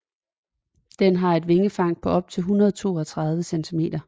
Den har et vingefang på op til 132 centimeter